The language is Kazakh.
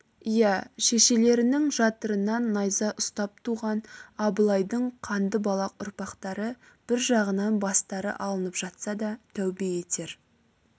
иә шешелерінің жатырынан найза ұстап туған абылайдың қанды балақ ұрпақтары бір жағынан бастары алынып жатса да тәубе етер